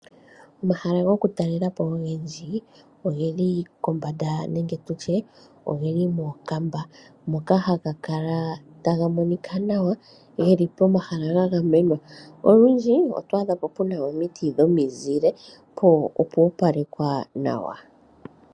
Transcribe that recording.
Omahala gwokutalelapo ogendji ogeli kombanda nenge tutye ogeli mookamba moka haga kala taga monika nawa pomahala ga gamenwa, olundji oto adhapo puna omiti dhomizile po opo opalekwa nawa